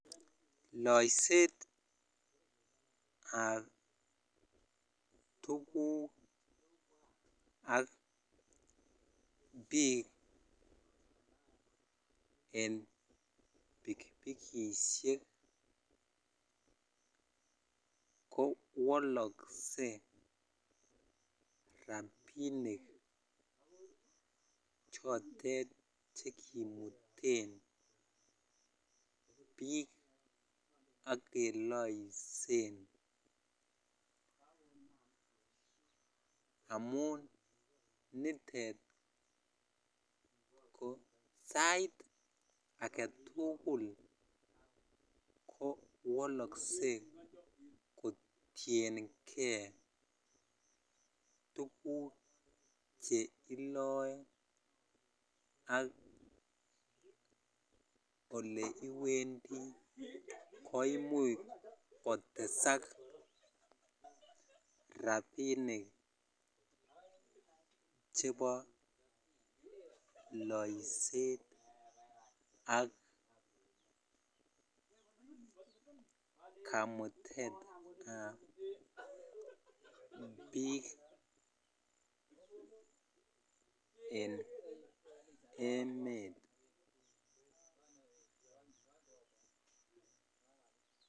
Loiset ab tugukab biik ak pikipikishek ko wolosen rabinik chekimuten biik ak keloisen amun nitet ko sait aketukul ko wolosen kotienkei tuguk che iloee koimuche kotesak rabinik chebo loiset ak kamutetab biik en emet.